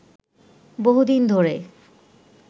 বহুদিন ধরে